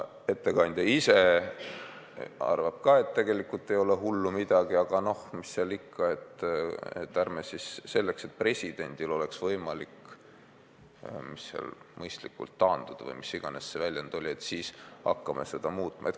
Ettekandja ise arvab ka, et tegelikult ei ole hullu midagi, aga noh, mis seal ikka, et presidendil oleks võimalik mõistlikult taanduda või mis iganes see väljend oli, siis hakkame seda muutma.